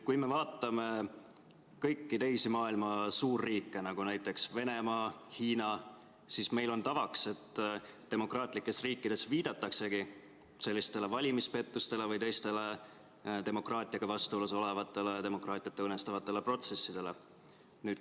Kui me vaatame kõiki teisi maailma suurriike, nagu näiteks Venemaa ja Hiina, siis meil on tavaks, et demokraatlikes riikides viidataksegi sellistele valimispettustele või teistele demokraatiaga vastuolus olevatele, demokraatiat õõnestavate protsessidele.